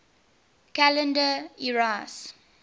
calendar eras